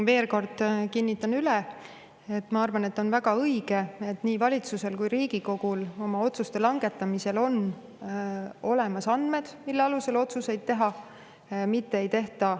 Veel kord kinnitan üle, et ma arvan, et on väga õige, et nii valitsusel kui Riigikogul on oma otsuste langetamisel olemas andmed, mille alusel otsuseid teha.